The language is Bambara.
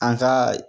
An ka